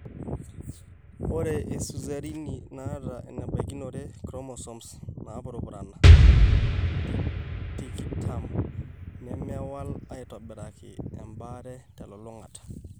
Ore iseizureni naata enebaikinore inchromosome naapurupurana tikitam nemewal aitobiraki embaare telulung'ata.